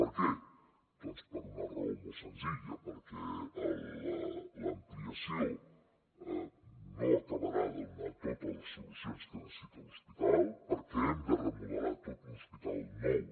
per què doncs per una raó molt senzilla perquè l’ampliació no acabarà de donar totes les solucions que necessita l’hospital perquè hem de remodelar tot un hospital nou